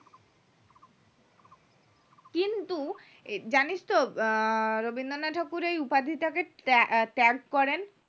কিন্তু জানিস্ তো আহ রবীন্দ্রনাথ ঠাকুর এই উপাধিটাকে ত্যা ত্যাগ করেন